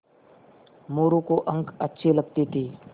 मोरू को अंक अच्छे लगते थे